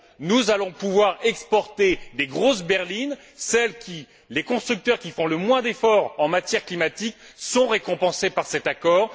Nous allons pouvoir exporter des grosses berlines, celles pour lesquelles les constructeurs qui font le moins d'efforts en matière climatique sont récompensés par cet accord.